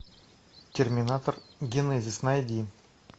терминатор генезис найди